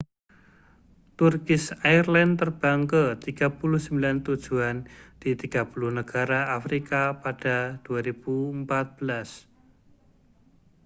turkish airlines terbang ke 39 tujuan di 30 negara afrika pada 2014